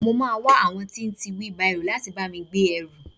I mo máa wá àwọn tí ń tí bárò láti bá mi gbé ẹrù.